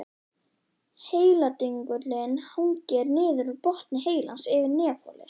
Heiladingullinn hangir niður úr botni heilans yfir nefholi.